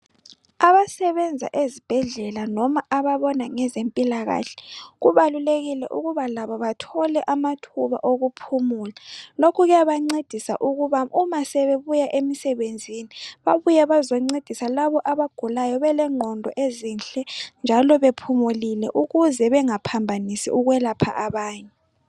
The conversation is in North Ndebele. Abasebenza ezibhedlela loba ababona ngezempilakahle kubalulekile ukuba labo bathole amathuba okuphumula lokhu kuyabancedisa ukuba uma sebebuya emsebenzini babuye bazoncedisa labo abagulayo belengqondo ezinhle njalo bephumulile ukuze bengaphambanisi ukwelapha abanye.